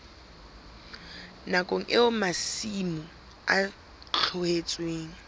nakong eo masimo a tlohetsweng